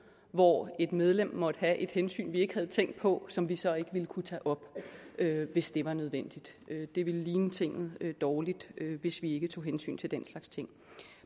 hvor et medlem måtte have et hensyn vi ikke havde tænkt på som vi så ikke ville kunne tage op hvis det var nødvendigt det ville ligne tinget dårligt hvis vi ikke tog hensyn til den slags ting